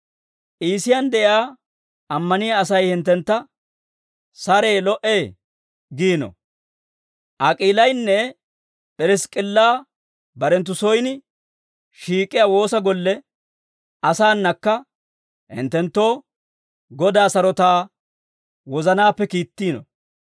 Iisiyaan de'iyaa ammaniyaa Asay hinttentta, «Saree, lo"ee» giino. Ak'iilaynne P'irisk'k'illa barenttu soyin shiik'iyaa woosa golle asaanakka hinttenttoo Godaa sarotaa wozanaappe kiittiino.